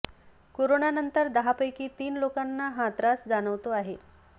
कोरोनानंतर दहापैकी तीन लोकांना हा त्रास जाणवतो आहे